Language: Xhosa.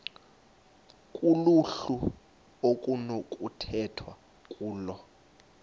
kuluhlu okunokukhethwa kulo